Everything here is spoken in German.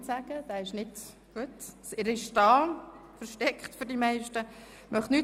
– Er wünscht das Wort ebenfalls nicht.